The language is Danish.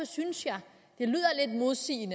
synes jeg